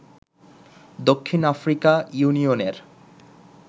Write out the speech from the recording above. দক্ষিণ আফ্রিকা ইউনিয়নের